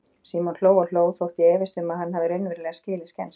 Símon hló og hló, þótt ég efist um að hann hafi raunverulega skilið skensið.